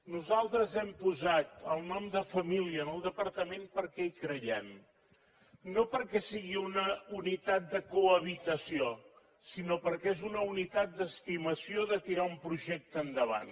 nosaltres hem posat el nom de família en el departament perquè hi creiem no perquè sigui una unitat de cohabitació sinó perquè és una unitat d’estimació de tirar un projecte endavant